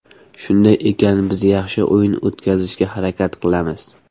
Shunday ekan biz yaxshi o‘yin o‘tkazishga harakat qilamiz.